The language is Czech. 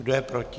Kdo je proti?